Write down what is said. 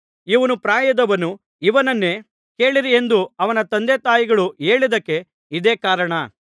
ಇವನು ಪ್ರಾಯದವನು ಇವನನ್ನೇ ಕೇಳಿರಿ ಎಂದು ಅವನ ತಂದೆತಾಯಿಗಳು ಹೇಳಿದ್ದಕ್ಕೆ ಇದೇ ಕಾರಣ